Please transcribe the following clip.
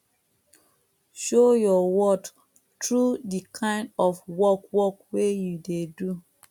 show your worth through di kind of work work wey you dey do